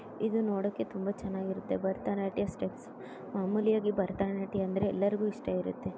ಇದು ನೋಡೋಕೆ ತುಂಬಾ ಚೆನ್ನಾಗಿರುತ್ತೆ ಭಾರತ ನಾಟ್ಯ ಸ್ಟೆಪ್ ಮಾಮೂಲಿ ಭಾರತ ನಾಟ್ಯ ಅಂದರೆ ಎಲ್ಲರಿಗು ಇಷ್ಟಾ ಆಗುತ್ತೆ.